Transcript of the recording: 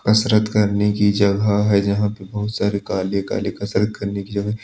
कसरत करने की जगह है जहाँ पे बहुत सारे काले-काले कसरत करने की जगह है।